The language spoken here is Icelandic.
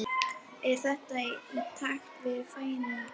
Er þetta í takt við væntingar